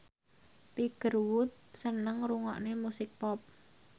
Tiger Wood seneng ngrungokne musik pop